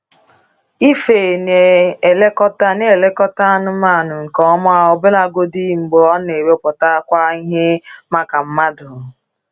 Ife na-elekọta na-elekọta anụmanụ nke ọma ọbụlagodi mgbe ọ na-ewepụtakwa ihe maka mmadụ.